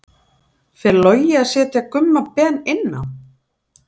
Fer Logi að setja Gumma Ben inn á?